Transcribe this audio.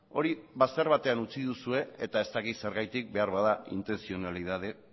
hori bazter batean utzi duzue eta ez dakit zergatik beharbada intentzionalitate